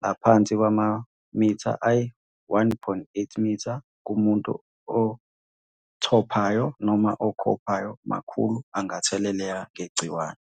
ngaphansi kwamamitha ayi-1,8, kumuntu othophayo noma okhophayo makhulu angatheleleka ngegciwane.